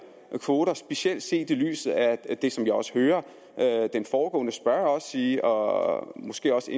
kvoter specielt set i lyset af det som jeg også hører den foregående spørger sige og måske også